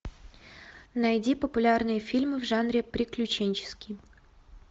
найди популярные фильмы в жанре приключенческий